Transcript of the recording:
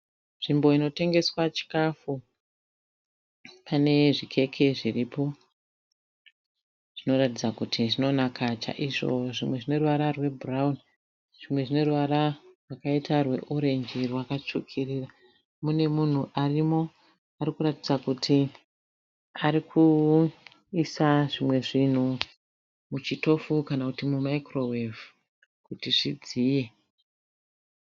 Nzvimbo inotengeswa chikafu. Pane zvikeke zviripo zvinoratidza kuti zvinonaka chaizvo. Zvimwe zvine ruvara rwebhurawuni zvimwe zvine ruvara rwakaita rweorenji rwakatsvukirira. Mune munhu arimo ari kuratidza kuti ari kuisa zvimwe zvinhu muchitofu kana kuti mumayikirowevhu kuti zvidziye.